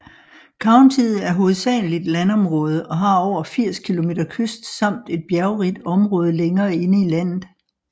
Countiet er hovedsageligt landområde og har over 80 km kyst samt et bjerrigt område længere inde i landet